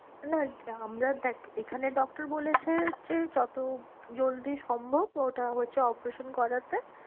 না আমরা দেখ এখানের doctor বলেছে যে যত জলদি সম্ভব ওটা হচ্ছে operation করাতে।